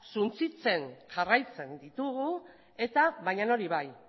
suntsitzen jarraitzen ditugu baina hori bai